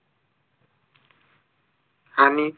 आणि